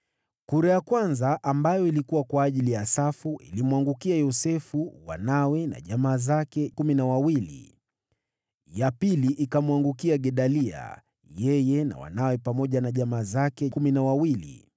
Kura ya kwanza, ambayo ilikuwa kwa ajili ya Asafu, ilimwangukia Yosefu, wanawe na jamaa zake, 12 Ya pili ikamwangukia Gedalia, yeye na wanawe pamoja na jamaa zake, 12